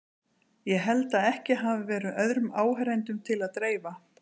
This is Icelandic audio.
Ég held að ekki hafi verið öðrum áheyrendum til að dreifa.